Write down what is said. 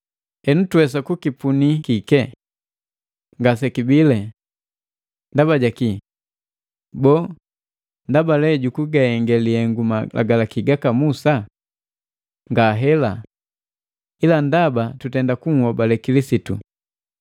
Henu tuwesa kukipunii kike? Ngasekibile! Ndaba jaki? Boo, nndaba jukugahenge lihengu Malagalaki gaka Musa? Ngahela! Ila ndaba tutenda kuhobale Kilisitu.